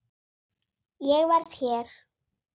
Ég verð hér